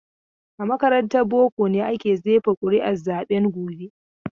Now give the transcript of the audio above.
A makarantar boko ne aka jefa ƙuri'un zaben gobe.